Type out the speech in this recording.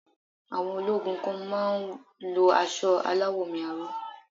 Àwọn ológun kan má á ń lo asọ aláwọ̀ omi aró